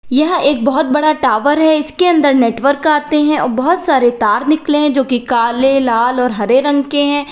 यह एक बहुत बड़ा टावर है इसके अंदर नेटवर्क आते हैं और बहुत सारे तार निकले हैं जो कि काले लाल और हरे रंग के हैं।